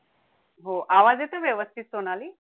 हो आवाज येतोय व्यवस्थित सोनाली